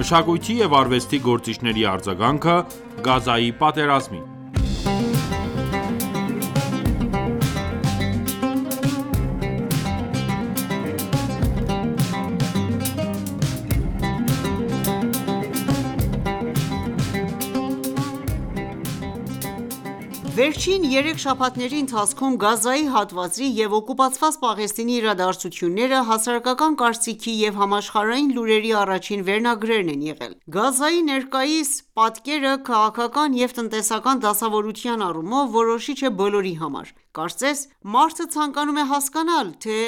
Մշակույթի և արվեստի գործիչների արձագանքը՝ Գազայի պատերազմին Վերջին երեք շաբաթների ընթացքում Գազայի հատվածի և օկուպացված Պաղեստինի իրադարձությունները հասարակական կարծիքի և համաշխարհային լուրերի առաջին վերնագրերն են եղել: Գազայի ներկայիս պատկերը քաղաքական և տնտեսական դասավորության առումով որոշիչ է բոլորի համար: Կարծես մարդը ցանկանում է հասկանալ, թե՝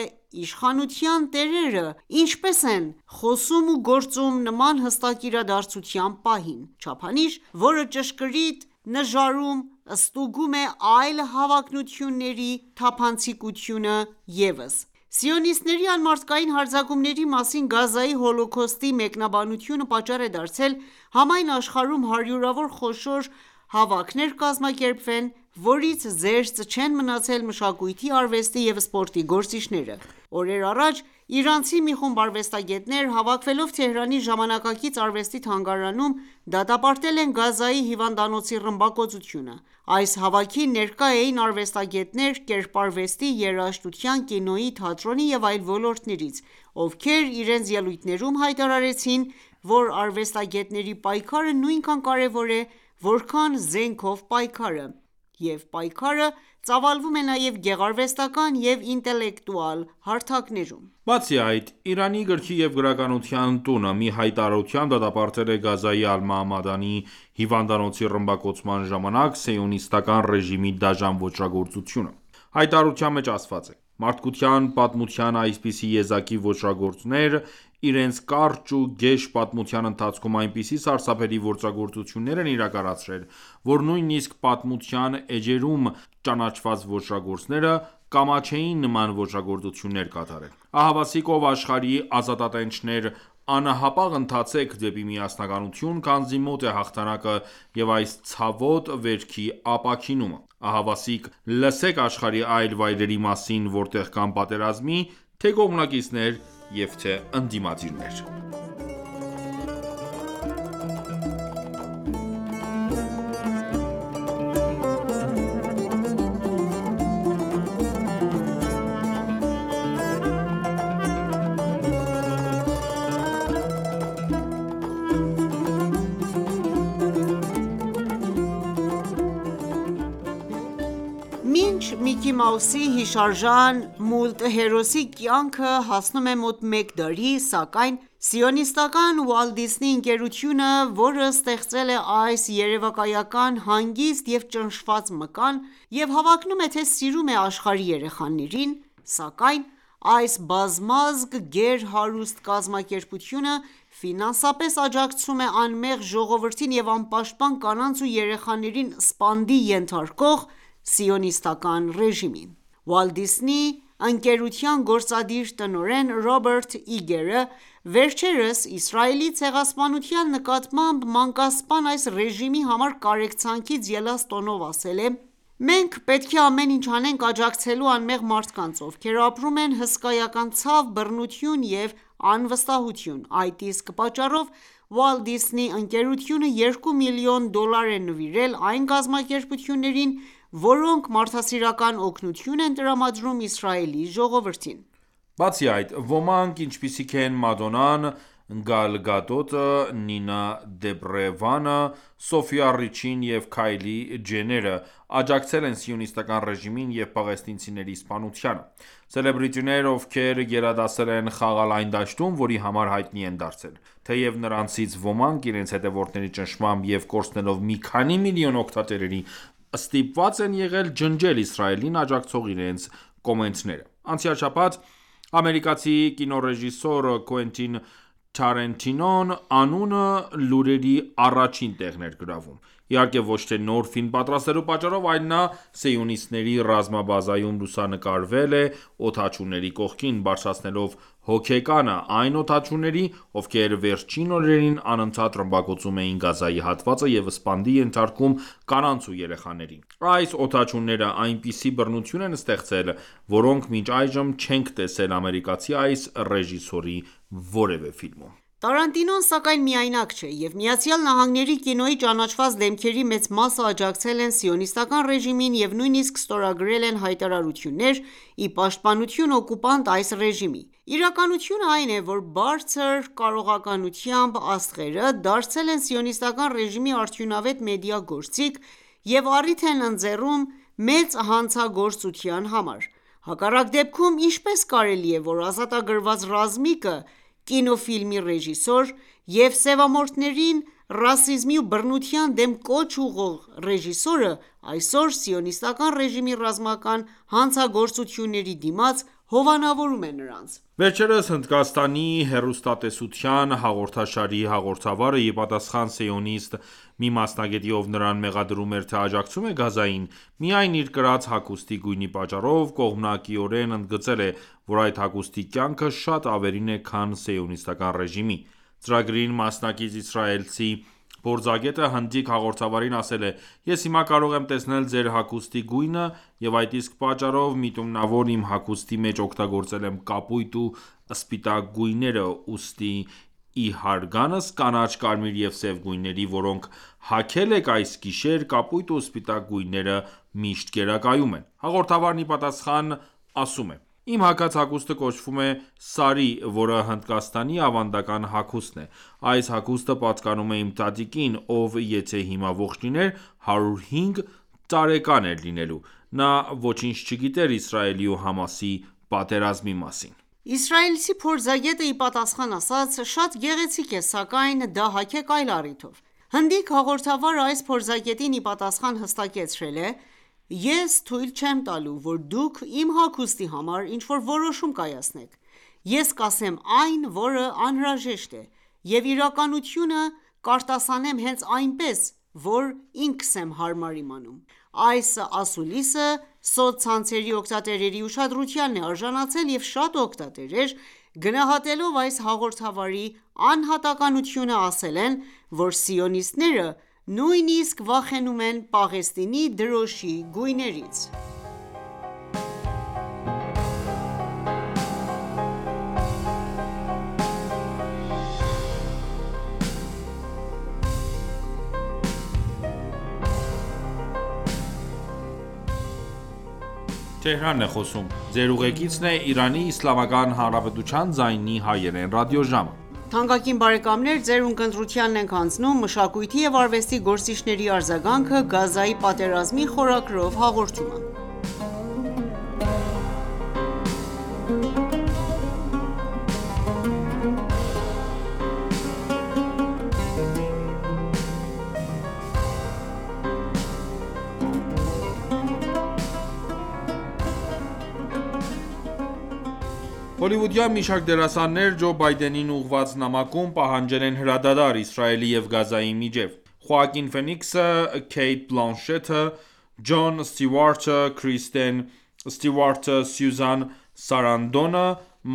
իշխանության տերերը ի՞նչպես են խոսում ու գործում նման հստակ իրադարձության պահին։ Չափանիշ, որը ճշգրիտ նժարում ստուգում է այլ հավակնությունների թափանցիկությունը ևս: Սիոնիստների անմարդկային հարձակումների մասին «Գազայի հոլոքոստի» մեկնաբանությունը պատճառ է դարձել համայն աշխարհում հարյուրավոր խոշոր հավաքներ կազմակերպվեն, որից զերծ չեն մնացել մշակույթի, արվեստի և սպորտի գործիչները: Օրեր առաջ իրանցի մի խումբ արվեստագետներ հավաքվելով Թեհրանի Ժամանակակից արվեստի թանգարանում դատապարտել են Գազայի հիվանդանոցի ռմբակոծությունը։ Այս հավաքին ներկա էին արվեստագետներ՝ կերպարվեստի, երաժշտության, կինոյի, թատրոնի եւ այլ ոլորտներից, ովքեր իրենց ելույթներում հայտարարեցին, որ արվեստագետների պայքարը նույնքան կարևոր է, որքան զենքով պայքարը, և պայքարը ծավալվում է նաև գեղարվեստական և ինտելեկտուալ հարթակներում։ Բացի այդ, «Իրանի գրքի և գրականության տունը» մի հայտարարությամբ դատապարտել է Գազայի ալ-Մաամադանի հիվանդանոցի ռմբակոծման ժամանակ սիոնիստական ռեժիմի դաժան ոճրագործությունը: Հայտարարության մեջ ասված է. «Մարդկության պատմության այսպիսի եզակի ոճրագործներ, իրենց կարճ ու գեշ պատմության ընթացքում, այնպիսի սարսափելի ոճրագործություններ են իրականացրել ,որ նույնիսկ պատմության էջերում ճանաչված ոճրագործները, կամաչեին նման ոճրագործություններ կատարել: Ահավասիկ, ո՛վ աշխարհի ազատատենչներ ,անհապաղ ընթացեք դեպի միասնականություն ,քանզի մոտ է հաղթանակը և այս ցավոտ վերքի ապաքինումը։ Ահավասիկ լսեք աշխարհի այլ վայրերի մասին ,որտեղ կան պատերազմի թե՛ կողմնակիցներ և թե՛ ընդդիմադիրներ: Մինչ «Միկի Մաուսի» հիշարժան մուլտհերոսի կյանքը հասնում է մոտ մեկ դարի, սակայն սիոնիստական Walt Disney ընկերությունը, որը ստեղծել է այս երևակայական հանգիստ և ճնշված մկան ,և հավակնում է, թե՝ սիրում է աշխարհի երեխաներին, սակայն այս բազմազգ գեր հարուստ կազմակերպությունը ֆինանսապես աջակցում է՝ անմեղ ժողովրդին և անպաշտպան կանանց ու երեխաներին սպանդի ենթարկող սիոնիստական ռեժիմին: Walt Disney ընկերության գործադիր տնօրեն Ռոբերտ Իգերը, վերջերս Իսրայելի ցեղասպանության նկատմամբ ,մանկասպան այս ռեժիմի համար կարեկցանքից ելած տոնով ասել է.« Մենք պետք է ամեն ինչ անենք՝ աջակցելու անմեղ մարդկանց, ովքեր ապրում են հսկայական ցավ, բռնություն և անվստահություն: Այդ իսկ պատճառով Walt Disney ընկերությունը 2 միլիոն դոլար է նվիրել այն կազմակերպություններին, որոնք մարդասիրական օգնություն են տրամադրում Իսրայելի ժողովրդին»: Բացի այդ, ոմանք ,ինչպիսիք են՝Մադոննան, Գալ Գադոտը, Նինա Դոբրեվանը, Սոֆյա Ռիչին և Քայլի Ջենները, աջակցել են սիոնիստական ռեժիմին և պաղեստինցիների սպանությանը։ Սելեբրիտիներ ,ովքեր գերադասել են խաղալ այն դաշտում ,որի համար հայտնի են դարձել: Թեև նրանցից ոմանք իրենց հետևորդների ճնշմամբ և կորցնելով մի քանի միլիոն օգտատերերի ստիպված են եղել ջնջել Իսրայելին աջակցող իրենց կոմենտները: Անցյալ շաբաթ ամերիկացի կինոռեժիսորի «Quentin Tarantino» անունը լուրերի առաջին տեղն էր գրավում, իհարկե ոչ թե նոր ֆիլմ պատրաստելու պատճառով, այլ նա սիոնիստների ռազմաբազայում լուսանկարվել է օդաչուների կողքին ,բարձրացնելով հոգեկանը ,այն օդաչուների՝ովքեր վերջին օրերին անընդատ ռմբակոծում էին Գազայի հատվածը և սպանդի ենթարկում կանանց ու երեխաներին: Այս օդաչուները այնպիսի բռնություն են ստեղծել, որոնք մինչ այժմ չենք տեսել ամերիկացի այս ռեժիսորի որևէ ֆիլմում: Տարանտինոն, սակայն, միայնակ չէ, եւ ԱՄՆ-ի կինոյի ճանաչված դեմքերի մեծ մասը աջակցել են սիոնիստական ռեժիմին եւ նույնիսկ ստորագրել են հայտարարություններ, ի պաշտպանություն օկուպանտ այս ռեժիմի: Իրականությունը այն է, որ բարձր կարողականությամբ աստղերը դարձել են սիոնիստական ռեժիմի արդյունավետ մեդիա գործիք եւ առիթ են ընձեռում մեծ հանցագործության համար:Հակառակ դեպքում ի՞նչպես կարելի է ,որ «ազատագրված ռազմիկը» կինոֆիլմի ռեժիսոր և սևամորթներին ռասիզմի ու բռնության դեմ կոչ ուղղող ռեժիսորը, այսօր սիոնիստական ռեժիմի ռազմական հանցագործությունների դիմաց հովանավորում է նրանց: Վերջերս Հնդկաստանի հեռուստատեսության հաղորդաշարի հաղորդավարը `ի պատասխան սիոնիստ մի մասնագետի, ով նրան մեղադրում էր թե աջակցում է Գազային ,միայն իր կրած հագուստի գույնի պատճառով ,կողմնակիորեն ընդգծել է ,որ այդ հագուստի կյանքը շատ ավելին է քան սիոնիստական ռեժիմի: Ծրագրին մասնակից իսրայելցի փորձագետը հնդիկ հաղորդավարին ասել է.«Ես հիմա կարող եմ տեսնել ձեր հագուստի գույնը և այդ իսկ պատճառով միտումնավոր իմ հագուստի մեջ օգտագործել եմ կապույտ ու սպիտակ գույները ,ուստի իհարգանս կանաչ, կարմիր և սև գույների, որոնք հագել եք այս գիշեր, կապույտ ու սպիտակ գույները միշտ գերակայում են»: Հաղորդավարն ի պատասխան ասում է.«Իմ հագած հագուստը կոչվում է «սարի»որը Հնդկաստանի ավանդական հագուստն է: Այս հագուստը պատկանում է իմ տատիկին ,ով եթե հիմա ողջ լիներ 105 տարեկան էր լինելու: Նա ոչինչ չգիտեր Իսրայելի ու ՀԱՄԱՍ-ի պատերազմի մասին»: Իսրայելցի փորձագետը ի պատասխան ասաց.«Շատ գեղեցիկ է,սակայն դա հագեք այլ առիթով»: Հնդիկ հաղորդավարը այս փորձագետին իպատասխան հստակեցրել է.«Ես թույլ չեմ տալու ,որ դուք իմ հագուստի համար ինչ որ որոշում կայացնեք :Ես կասեմ այն որը անհրաժեշտ է և իրականությունը կարտասանեմ հենց այնպես ,որ ինքս եմ հարմար իմանում»: Այս ասուլիսը սոցցանցերի օգտատերերի ուշադրությանն է արժանացել և շատ օգտատերեր գնահատելով այս հաղորդավարի անհատականությունը ասել են ,որ սիոնիստները նույնիսկ վախենում են Պաղեստինի դրոշի գույներից: Հոլիվուդյան մի շարք դերասաններ Ջո Բայդենին ուղղված նամակում պահանջել են հրադադար՝Իսրայելի և Գազայի միջև։ Խոակին Ֆենիքսը, Քեյթ Բլանշեթը, Ջոն Ստյուարտը, Քրիստեն Ստյուարտը, Սյուզան Սարանդոնը,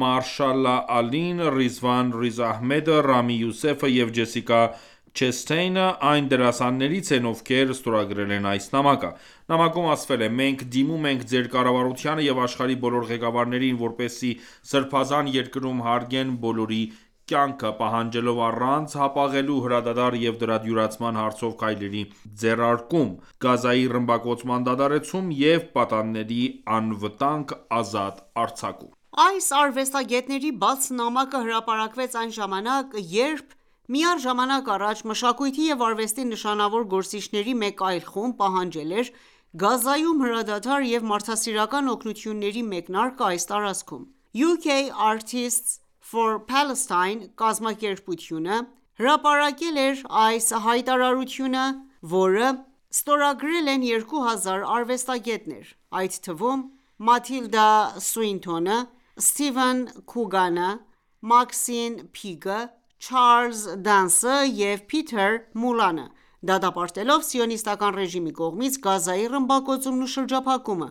Մահերշալա Ալին, Ռիզվան Ռիզ Ահմեդը, Ռամի Յուսեֆը և Ջեսիկա Չեսթեինը այն դերասաններից են, ովքեր ստորագրել են այս նամակը։ Նամակում ասվել է.« Մենք դիմում ենք ձեր կառավարությանը և աշխարհի բոլոր ղեկավարներին ,որպեսզի սրբազան երկրում հարգեն բոլորի կյանքը ,պահանջելով առանց հապաղելու հրադադար և դրա դյուրացման հարցով քայլերի ձեռարկում, Գազայի ռմբակոծման դադարեցում և պատանդների անվտանգ ազատ արձակում»: Այս արվեստագետների բաց նամակը հրապարակվեց այն ժամանակ, երբ միառ ժամանակ առաջ մշակույթի և արվեստի նշանավոր գործիչների մեկ այլ խումբ պահանջել էր Գազայում հրադադար և մարդասիրական օգնությունների մեկնարկը այս տարածքում։« UK Artists for Palestine» կազմակերպության կողմից հրապարակված այս հայտարարության մեջ ,որը ստորագրել են 2000 արվեստագետներ, այդ թվում՝ Մաթիլդա Սուինթոնը, Սթիվեն Քուգանը, Մաքսին Փիկը, Չարլզ Դանսը և Փիթեր Մուլանը, դատապարտելով սիոնիստական ռեժիմի կողմից Գազայի ռմբակոծումն ու շրջափակումը,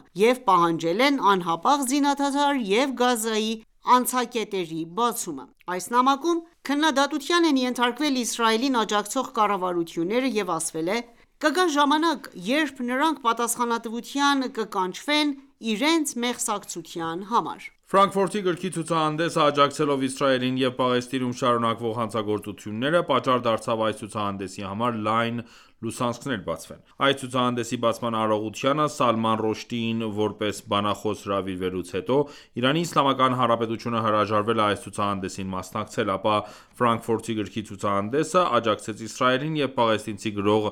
պահանջել են անհապաղ զինադադար եւ Գազայի անցակետերի բացում։ Այս նամակում քննադատության են ենթարկվել Իսրայելին աջակցող կառավարությունները և ասվել է.« Կգա ժամանակ, երբ նրանք պատասխանատվության կկանչվեն իրենց մեղսակցության համար»: Ֆրանկֆուրտի գրքի ցուցահանդեսը աջակցելով Իսրայելին և Պաղեստինում շարունակվող հանցագործությունները, պատճառ դարձավ այս ցուցահանդեսի համար լայն լուսանցքներ բացվեն: Այս ցուցահանդեսի բացման արարողությանը Սալման Ռուշդիին որպես բանախոս հրավիրելուց հետո, Իրանի Իսլամական Հանրապետությունը հրաժարվել է այս ցուցահանդեսին մասնակցել։ Ապա Ֆրանկֆուրտի գրքի ցուցահանդեսը աջակցեց Իսրայելին, և պաղեստինցի գրող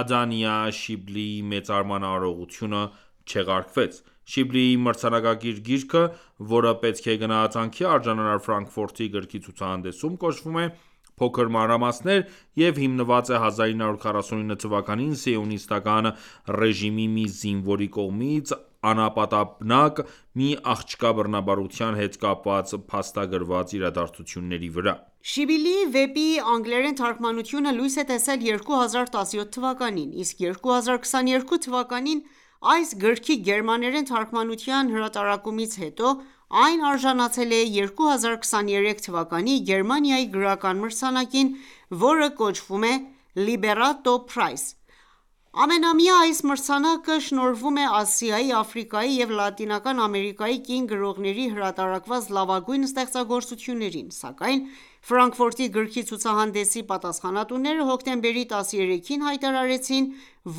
Ադանիա Շիբլիի մեծարման արարողությունը չեղարկվեց: Շիբլիի մրցանակակիր գիրքը, որը պետք է գնահատանքի արժանանար Ֆրանկֆուրտի գրքի ցուցահանդեսում, կոչվում է «Փոքր մանրամասներ» և հիմնված է 1949 թվականին սիոնիստական ռեժիմի մի զինվորի կողմից անապատաբնակ մի աղջկա բռնաբարության հետ կապված փաստագրված իրադարձությունների վրա։ Շիբլիի վեպի անգլերեն թարգմանությունը լույս է տեսել 2017 թվականին, իսկ 2022 թվականին այս գրքի գերմաներեն թարգմանության հրատարակումից հետո այն արժանացել է 2023 թվականի Գերմանիայի գրական մրցանակին, որը կոչվում է «Լիբերատո փրայս»։Ամենամյա այս մրցանակը շնորհվում է Ասիայի, Աֆրիկայի և Լատինական Ամերիկայի կին գրողների հրատարակված լավագույն ստեղծագործություններին։ Սակայն Ֆրանկֆուրտի գրքի ցուցահանդեսի պատասխանատուները հոկտեմբերի 13-ին հայտարարեցին,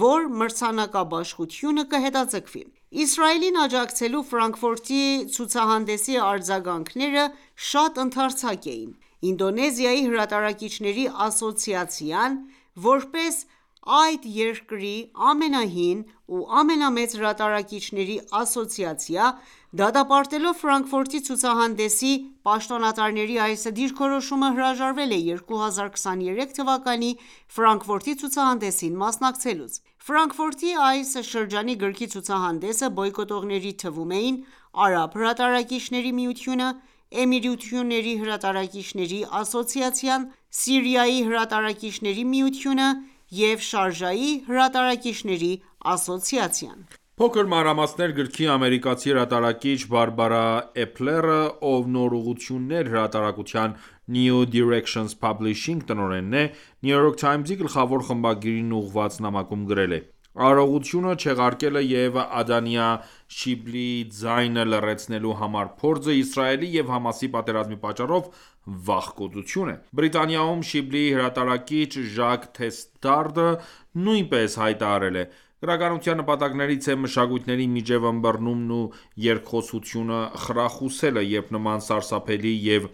որ մրցանակաբաշխությունը կհետաձգվի։ Իսրայելին աջակցելու Ֆրանկֆուրտի ցուցահանդեսի արձագանքները շատ ընդարձակ էին: Ինդոնեզիայի հրատարակիչների ասոցիացիան (Ikapi)-ն, որպես այդ երկրի ամենահին և ամենամեծ հրատարակիչների ասոցիացիա, դատապարտելով Ֆրանկֆուրտի ցուցահանդեսի պաշտոնյաների այս դիրքորոշումը, հրաժարվել է 2023 թվականի Ֆրանկֆուրտի ցուցահանդեսին մասնակցելուց: Ֆրանկֆուրտի այս շրջանի գրքի ցուցահանդեսը բոյկոտողների թվում էին՝արաբ հրատարակիչների միությունը, Էմիրությունների հրատարակիչների ասոցիացիան, Սիրիայի հրատարակիչների միությունը և Շարժայի հրատարակիչների ասոցիացիան: «Փոքր մանրամասներ»գրքի ամերիկացի հրատարակիչ՝Բարբարա Էփլերը, ով «Նոր ուղղություններ» հրատարակության (New Directions Publishing) տնօրենն է, New York Times-ի գլխավոր խմբագրին ուղղված նամակում գրել է.« Արարողությունը չեղարկելը և Ադանիա Շիբլիի ձայնը լռեցնելու համար փորձը՝Իսրայելի և ՀԱՄԱՍ-ի պատերազմի պատճառով, վախկոտություն է»: Բրիտանիայում Շիբլիի հրատարակիչ՝Ժակ Թեսթարդը նույնպես հայտարարել է.« Գրականության նպատակներից է մշակույթների միջև ըմբռնումն ու երկխոսությունը խրախուսելը: Երբ նման սարսափելի և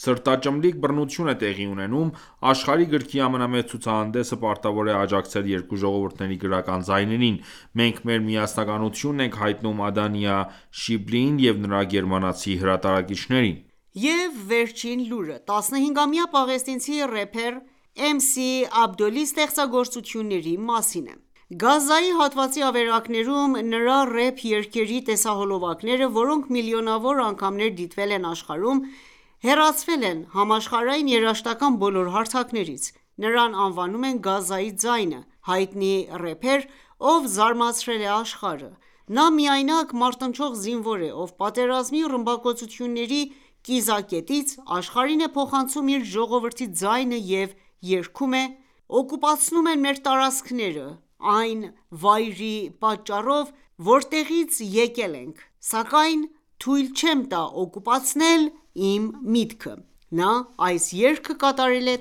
սրտաճմլիկ բռնություն է տեղի ունենում, աշխարհի գրքի ամենամեծ ցուցահանդեսը պարտավոր է աջակցել երկու ժողովուրդների գրական ձայներին: Մենք մեր միասնականությունն ենք հայտնում Ադանիա Շիբլիին և նրա գերմանացի հրատարակիչներին»։ Եվ վերջին լուրը,15-ամյա պաղեստինցի ռեփեր ՝Էմսի Աբդոլի ստեղծագործությունների մասին է։ Գազայի հատվածի ավերակներում նրա ռեպ երգերի տեսահոլովակները, որոնք միլիոնավոր անգամներ դիտվել են աշխարհում, հեռացվել են համաշխարհային երաժշտական բոլոր հարթակներից։ Նրան անվանում են «Գազայի ձայնը», հայտնի ռեպեր, ով զարմացրել է աշխարհը: Նա միայնակ մարտնչող զինվոր է, ով պատերազմի ու ռմբակոծությունների կիզակետից աշխարհին է փոխանցում իր ժողովրդի ձայնը և երգում է.«Օկուպացնում են մեր տարածքները ,այն վայրի պատճառով որտեղից եկել ենք, սակայն թույլ չեմ տա օկուպացնել իմ միտքը»: Նա այս երգը կատարել է